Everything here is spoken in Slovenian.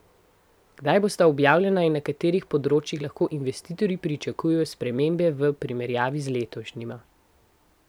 Kdaj bosta objavljena in na katerih področjih lahko investitorji pričakujejo spremembe v primerjavi z letošnjima?